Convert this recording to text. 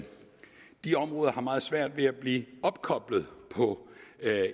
de områder har meget svært ved at blive opkoblet på